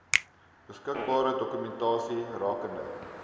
beskikbare dokumentasie rakende